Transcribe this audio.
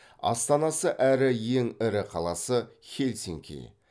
астанасы әрі ең ірі қаласы хельсинки